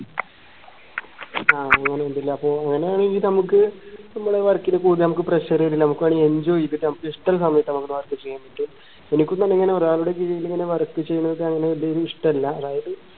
ആഹ് അങ്ങനെ ഇണ്ടല്ലേ അപ്പൊ അങ്ങനെ രീതിൽ നമുക്ക് നമ്മള് work ന് pressure നമുക്ക് വേണേ enjoy ചെയ്ത ചെയ്യാം നമുക്ക് ഇഷ്ടമുള്ള സമയത് നമ്മുടെ work ചെയ്യാൻ പറ്റും എനിക്കും തന്നെ ഇങ്ങനെ ഒരാളുടെ കീഴിൽ ഇങ്ങനെ work ചെയ്യുന്നത് ഇഷ്ടല്ല അതായത്